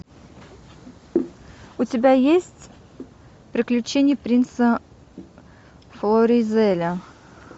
у тебя есть приключения принца флоризеля